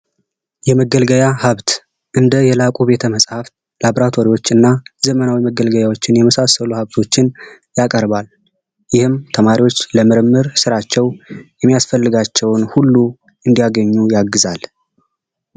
የመገልገያ ሀብት እንደ የላቁ ቤተመጻሕፍት፣ ላቦራቶሪዎች እና ዘመናዊ መገልገያዎችን የመሳሰሉ ሀብቶችን ያቀርባል ይህም ተማሪዎች ለምርምር ስራቸው የሚያስፈልጋቸውን ሁሉ እንዲያገኙ ያግዛል።